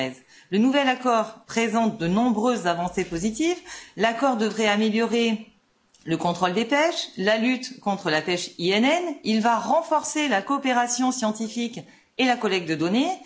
2013. Le nouvel accord présente de nombreuses avancées positives il devrait améliorer le contrôle des pêches, la lutte contre la pêche INN, il va renforcer la coopération scientifique et la collecte de données.